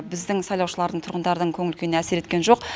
біздің сайлаушылардың тұрғындардың көңіл күйіне әсер еткен жоқ